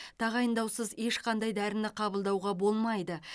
тағайындаусыз ешқандай дәріні қабылдауға болмайды